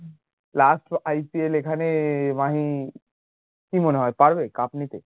lastIPL এ এখানে মাহি কি মনে হয় পারবে cup নিতে